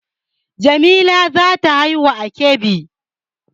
Jamila za ta haihu a Kebbi